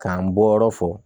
K'an bɔyɔrɔ fɔ